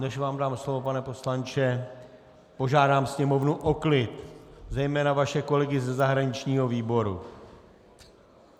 Než vám dám slovo, pane poslanče, požádám sněmovnu o klid, zejména vaše kolegy ze zahraničního výboru.